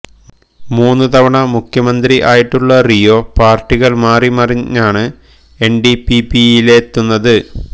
മൂന്ന് തവണ മുഖ്യമന്ത്രി ആയിട്ടുള്ള റിയോ പാർട്ടികൾ മാറി മറഞ്ഞാണ് എൻഡിപിപിയിലെത്തുന്നത്